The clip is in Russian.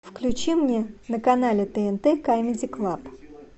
включи мне на канале тнт камеди клаб